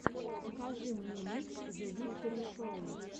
покажи мне микс зэвикторишоу